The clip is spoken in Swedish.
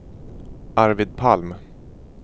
Arvid Palm